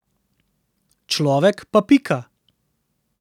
Človek pa pika.